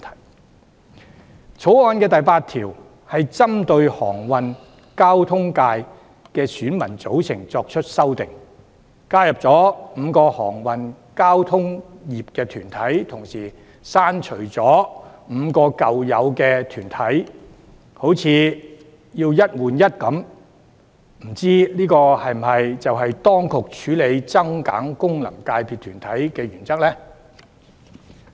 另外，《條例草案》第8條針對航運交通界的選民組成作出修訂，加入5個航運交通業團體，但同時刪除5個舊有團體，好像"一換一"般，未知這是否當局處理增減功能界別團體的原則呢？